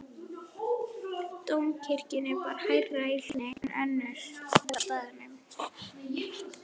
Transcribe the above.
Dómkirkjuna bar hærra í hlíðinni en önnur hús á staðnum.